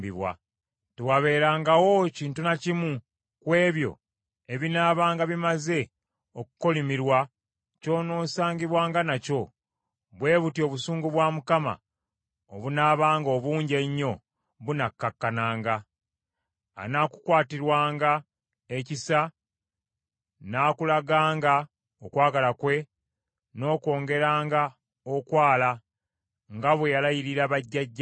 Tewaabeerengawo kintu na kimu ku ebyo ebinaabanga bimaze okukolimirwa ky’onoosangibwanga nakyo, bwe butyo obusungu bwa Mukama obunaabanga obungi ennyo bunakkakkananga; anaakukwatirwanga ekisa, n’akulaganga okwagala kwe, n’akwongeranga okwala, nga bwe yalayirira bajjajjaabo,